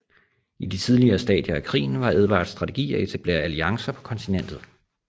I de tidlige stadier af krigen var Edvards strategi at etablere alliancer på kontinentet